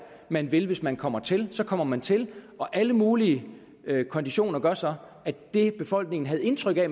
man vil hvis man kommer til så kommer man til og alle mulige konditioner gør så at det befolkningen havde indtryk af